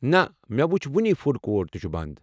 نہ، مےٚ وُچھ وُنی، فوڈ کورٹ تہِ چُھ بنٛد۔